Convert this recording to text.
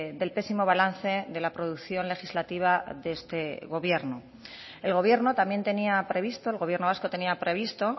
del pésimo balance de la producción legislativa de este gobierno el gobierno también tenía previsto el gobierno vasco tenía previsto